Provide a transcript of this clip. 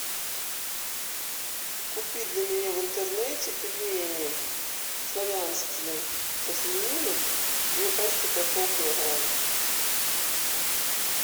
купи для меня в интернете пельмени славянские со свининой две пачки по полкилограмма